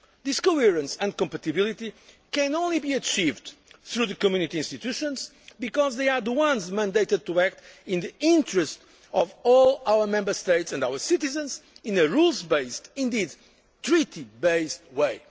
This coherence and compatibility can only be achieved through the Community institutions, because they are the ones mandated to act in the interests of all our Member States and our citizens in a rule based indeed Treaty based